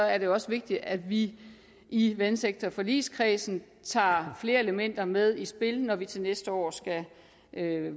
er det også vigtigt at vi i vandsektorforligskredsen tager flere elementer med i spil når vi til næste år skal